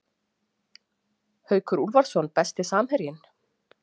Haukur Úlfarsson Besti samherjinn?